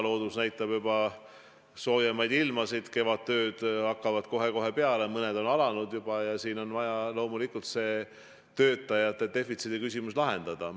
Loodus näitab juba soojemaid ilmasid, kevadtööd hakkavad kohe-kohe peale, mõned on juba alanud ja siin on vaja loomulikult töötajate defitsiidi küsimus lahendada.